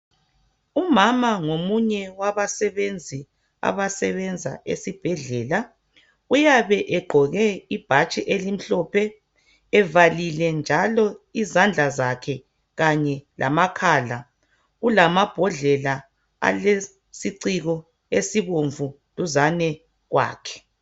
Umama ngomunye wabasebenzi abasebenza esibhedlela uyabe egqoke ibhatshi elimhlophe evalile izandla zakhe kanye lamakhala kukamabhodlela alesiciko esibomvu duzane kwakhe